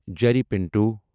Jerry Pinto